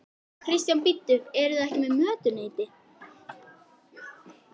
Kristján: Bíddu, eruð þið ekki með mötuneyti?